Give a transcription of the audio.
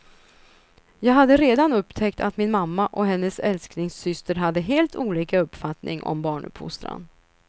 Jag hade redan upptäckt att min mamma och hennes älsklingssyster hade helt olika uppfattning om barnuppfostran.